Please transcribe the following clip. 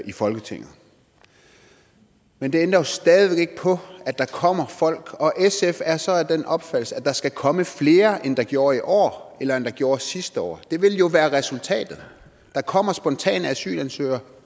i folketinget men det ændrer jo stadig væk ikke på at der kommer folk og sf er så af den opfattelse at der skal komme flere end der gjorde i år eller end der gjorde sidste år det vil jo være resultatet der kommer spontane asylansøgere